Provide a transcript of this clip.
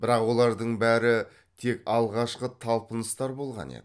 бірақ олардың бәрі тек алғашқы талпыныстар болған еді